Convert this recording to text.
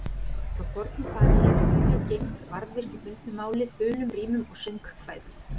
Frá fornu fari hefur munnleg geymd varðveist í bundnu máli, þulum, rímum og söngkvæðum.